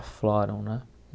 né?